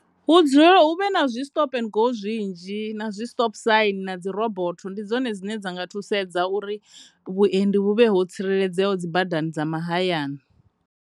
Hu dzule, hu vhe na zwi stop and go zwinzhi na dzi stop sign na dzi robort ndi dzone dzine dza nga thusedza uri vhuendi vhu vhe ho tsireledzeaho dzi badani dza mahayani.